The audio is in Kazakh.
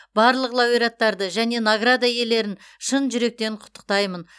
барлық лауреаттарды және награда иелерін шын жүректен құттықтаймын